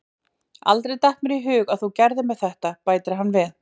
Aldrei datt mér í hug að þú gerðir mér þetta, bætir hann við.